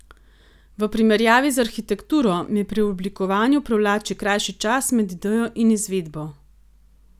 V primerjavi z arhitekturo me pri oblikovanju privlači krajši čas med idejo in izvedbo.